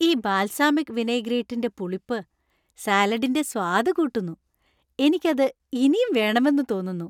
ഈ ബാൽസാമിക് വിനൈഗ്രേറ്റിന്‍റെ പുളിപ്പ് , സാലഡിന്‍റെ സ്വാദ് കൂട്ടുന്നു , എനിക്ക് അത് ഇനിയും വേണമെന്ന് തോന്നുന്നു .